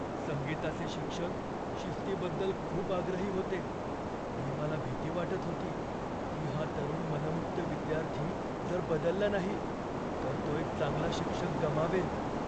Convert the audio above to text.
संगीताचे शिक्षक शिस्तीबद्दल खूप आग्रही होते आणि मला भीती वाटत होती की हा तरुण मनमुक्त विद्यार्थी जर बदलला नाही तर तो एक चांगला शिक्षक गमावेल.